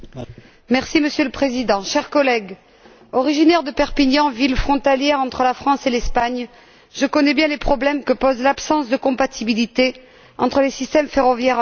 Monsieur le Président, chers collègues, originaire de Perpignan, ville frontalière entre la France et l'Espagne, je connais bien les problèmes que pose l'absence de compatibilité entre les systèmes ferroviaires en Europe.